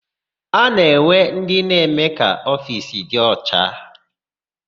A na-enwe ndị na-eme ka ofiisi dị ọcha.